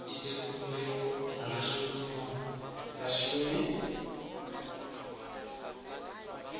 ite khumbelo muhashoni wa vhashumi